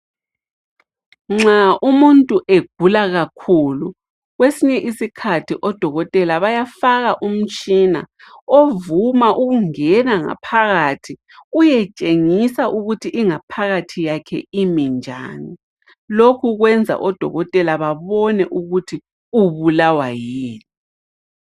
Nxa umuntu egula kakhulu kwesinye isikhathi odokotela bayafaka umtshina, ovuma ukungena ngaphakathi uyetshengisa ukuthi ingaphakathi yakhe iminjani lokhu kwenza odokotela babone ukuthi ubulawa yini.